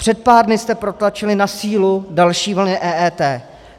Před pár dny jste protlačili na sílu další vlny EET.